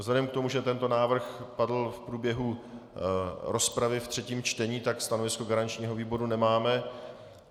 Vzhledem k tomu, že tento návrh padl v průběhu rozpravy ve třetím čtení, tak stanovisko garančního výboru nemáme.